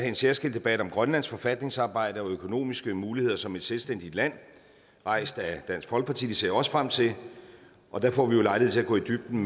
en særskilt debat om grønlands forfatningsarbejde og økonomiske muligheder som et selvstændigt land rejst af dansk folkeparti det ser jeg også frem til og der får vi jo lejlighed til at gå i dybden